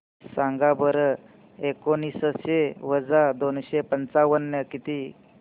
सांगा बरं एकोणीसशे वजा दोनशे पंचावन्न किती